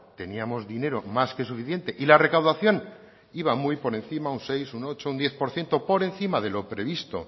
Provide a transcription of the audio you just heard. teníamos dinero más que suficiente y la recaudación iba muy por encima un seis un ocho un diez por ciento por encima de lo previsto